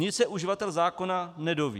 Nic se uživatel zákona nedoví.